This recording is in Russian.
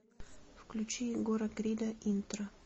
включи егора крида интро